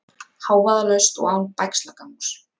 Hávaðalaust og án bægslagangs.